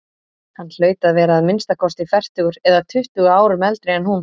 Hann hlaut að vera að minnsta kosti fertugur eða tuttugu árum eldri en hún.